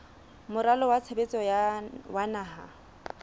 moralo wa tshebetso wa naha